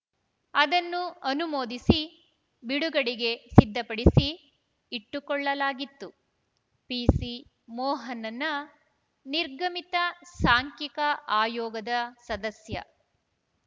ಅದನ್ನು ಅನುಮೋದಿಸಿ ಬಿಡುಗಡೆಗೆ ಸಿದ್ಧಪಡಿಸಿ ಇಟ್ಟುಕೊಳ್ಳಲಾಗಿತ್ತು ಪಿಸಿ ಮೋಹನನ್‌ ನಿರ್ಗಮಿತ ಸಾಂಖ್ಯಿಕ ಆಯೋಗದ ಸದಸ್ಯ